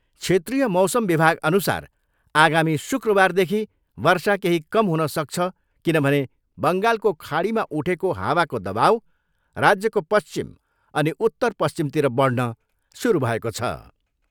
क्षेत्रिय मौसम विभागअनुसार आगामी शुक्रबारदेखि वर्षा केही कम हुन सक्छ किनभने बङ्गालको खाडीमा उठेको हावाको दवाउ राज्यको पश्चिम अनि उत्तर पश्चिमतिर बढ्न सुरु भएको छ।